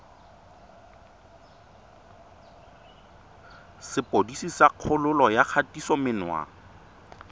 sepodisi sa kgololo ya kgatisomenwa